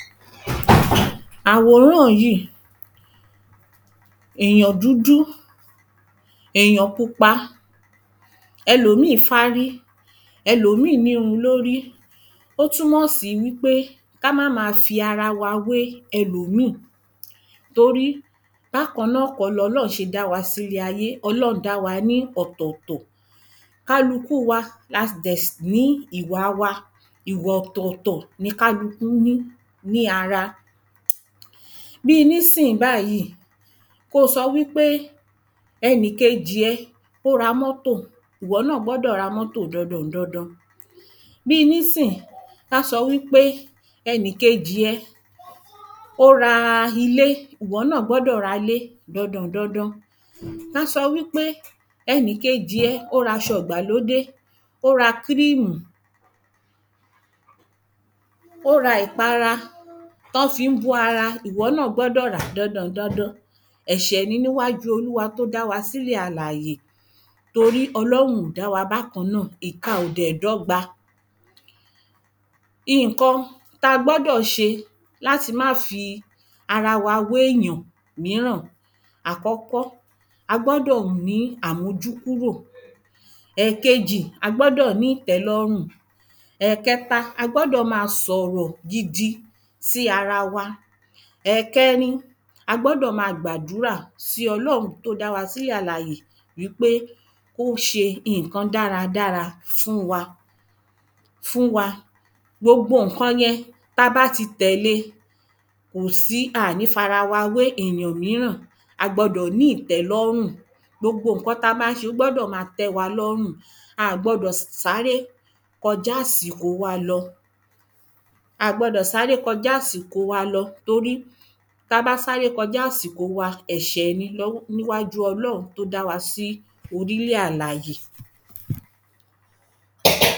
Àwòrán yí, èyàn dùdú èyàn pupa, ẹlòmíì fárí ẹlòmíì n'írun l'órí ó tú mọ̀ sí wí pé ká má ma fi ara wé ẹlòmíì torí bákan náà kọ́ l'Ọlọ́un ṣe dá s'ílé ayé Ọlọ́un dá wa ní ọ̀tọ̀tọ̀ Kálukú wa la dẹ̀ ní ìwa wa Ìwà ọ̀tọ̀tọ̀ ni kálukú ní ní ara Bí i nísìnyí báyí, ko sọ wí pé ẹnì kejì ẹ ó ra mọ́tò iwọ náà gbọ́dọ̀ ra mọ́tò dandan dandan Bí i nísìnyí báyí, ko sọ wí pé ẹnì kejì ẹ ó ra ilé iwọ náà gbọ́dọ̀ ra 'lé dandan dandan ko sọ wí pé ẹnì kejì ẹ ó ra aṣọ ìgbàlódé ó ra kírímù ó ra ìpara t’ọ́ fí ń bó ara iwọ náà gbọ́dọ̀ ràá dandan dandan Ẹ̀ṣẹ̀ ni n'íwájú Olúwa t’ó dá wa s'ílẹ̀ alàyè torí Ọlọ́hun ò dá wa bákan náà. Ìka ò dẹ̀ dọ́gba. Ìnkan t'a gbọ́dọ̀ ṣe l'áti ma fi ara w'éyàn míràn Àkọ́kọ́, a gbọ́dọ̀ ní amújúkúrò. Ẹkejì, a gbọ́dọ̀ ní ìtẹ́lọ́rùn. Ẹ̀kẹta, a gbọ́dọ̀ ma s'ọ̀rọ̀ gidi sí ara wa. Ẹ̀kẹrin, a gbọ́dọ̀ ma gbàdúrà sí Ọlọ́un t’ó dá wa sí ilẹ̀ alàyè ín pé ó ṣe ìnkan dáradára fún wa Gbogbo ǹkan yẹn ta bá ti tẹ̀le à ní f'ara we èyàn míràn A gbọdọ̀ ní ìtẹ́lọ́rùn Gbogbo ǹkan t’a bá ń ṣe ó gbọ́dọ̀ ma tẹ́ wa lọ́rùn A gbọdọ̀ sáré kọjá ‘sìkò wa lọ A gbọdọ̀ sáré kọjá ‘sìkò wa lọ torí Ta bá sáré kọjá 'sìkò wa, ẹ̀ṣẹ̀ ni n'íwájú Ọlọ́un t’ó da wá sí orílẹ̀ alàyè